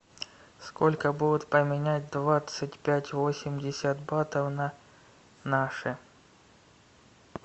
сколько будет поменять двадцать пять восемьдесят батов на наши